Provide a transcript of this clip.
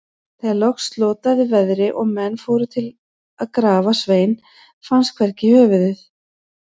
Þegar loks slotaði veðri og menn fóru til að grafa Svein, fannst hvergi höfuðið.